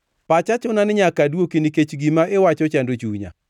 “Pacha chuna ni nyaka adwoki nikech gima iwacho chando chunya.